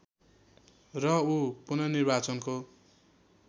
र ऊ पुननिर्वाचनको